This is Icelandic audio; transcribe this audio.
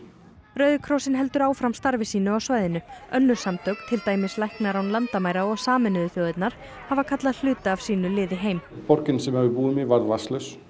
rauði krossinn heldur áfram starfi sínu á svæðinu önnur samtök til dæmis læknar án landamæra og Sameinuðu þjóðirnar hafa kallað hluta af sínu liði heim borgin sem að við búum í varð vatnslaus